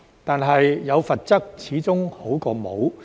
但是，有罰則始終比沒有好。